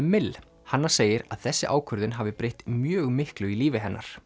mill hanna segir að þessi ákvörðun hafi breytt mjög miklu í lífi hennar